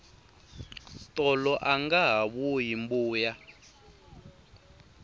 tolo angaha vuyi mbuya